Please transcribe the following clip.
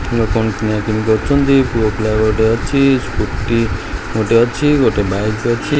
ଲୋକମାନେ କିଣା କିଣି କରୁଛନ୍ତି ପୁଅ ପିଲା ଗୋଟେ ଅଛି ସ୍କୁଟି ଗୋଟେ ଅଛି ଗୋଟେ ବାଇକ୍ ଅଛି